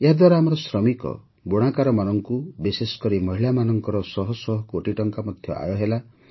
ଏହାଦ୍ୱାରା ଆମର ଶ୍ରମିକ ବୁଣାକାରମାନଙ୍କୁ ବିଶେଷ କରି ମହିଳାମାନଙ୍କର ଶହଶହ କୋଟି ଟଙ୍କା ଆୟ ମଧ୍ୟ ହେଲା